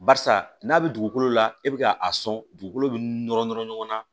Barisa n'a bɛ dugukolo la e bɛ ka a sɔn dugukolo bɛ nɔrɔ nɔrɔ ɲɔgɔn na